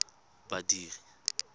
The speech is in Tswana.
badiri